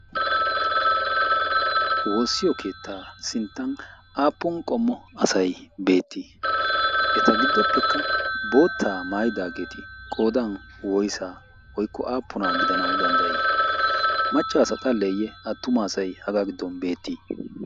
Woossiyo keettaa sinttan aappun qommo asayi beettii? Eta giddoppekka boottaa maayidaageti qoodan woysaa woykko aappunaa gidanawu danddayii? Macca asa xalleeyye attuma asayi hagan beettii?